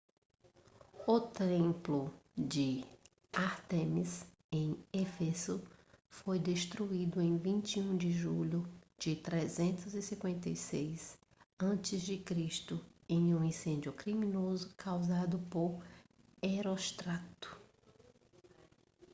o templo de ártemis em éfeso foi destruído em 21 de julho de 356 a.c. em um incêndio criminoso causado por heróstrato